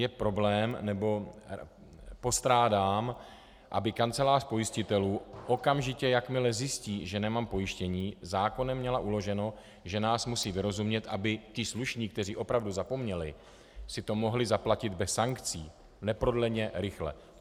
Je problém, nebo postrádám, aby kancelář pojistitelů okamžitě, jakmile zjistí, že nemám pojištění, zákonem měla uloženo, že nás musí vyrozumět, aby ti slušní, kteří opravdu zapomněli, si to mohli zaplatit bez sankcí - neprodleně, rychle.